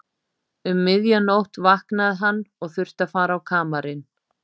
Um miðja nótt vaknaði hann og þurfti að fara á kamarinn.